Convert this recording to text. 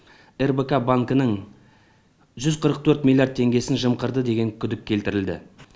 рбк банкінің жүз қырық төрт миллиард теңгесін жымқырды деген күдік келтірілді